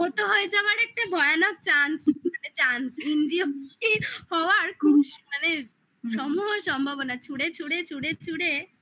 আহত হয়ে যাওয়ার একটা ভয়ানক chance মানে chance injury হওয়ার ক্রুশ মানে সম্ভব হওয়ার সম্ভাবনা. ছুঁড়ে ছুঁড়ে ছুঁড়ে